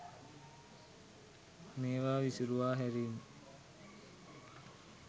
මේවා විසුරුවා හැරීම.